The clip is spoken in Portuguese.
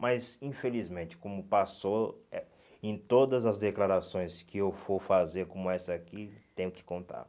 Mas, infelizmente, como passou eh em todas as declarações que eu for fazer como essa aqui, tenho que contar.